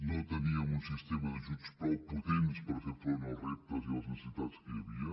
no teníem un sistema d’ajuts prou potent per fer front als reptes i a les necessitats que hi havia